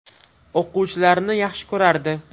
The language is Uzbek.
O‘quvchilarini yaxshi ko‘rardi.